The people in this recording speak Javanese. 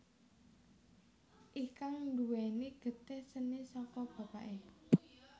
Ikang nduwèni getih seni saka bapaké